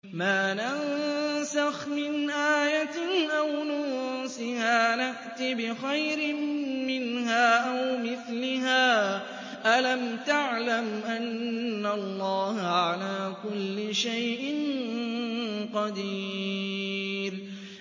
۞ مَا نَنسَخْ مِنْ آيَةٍ أَوْ نُنسِهَا نَأْتِ بِخَيْرٍ مِّنْهَا أَوْ مِثْلِهَا ۗ أَلَمْ تَعْلَمْ أَنَّ اللَّهَ عَلَىٰ كُلِّ شَيْءٍ قَدِيرٌ